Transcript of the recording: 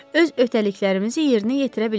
Öz öhdəliklərimizi yerinə yetirə bilərik.